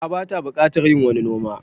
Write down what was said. A'a bata buƙatar yin wani noma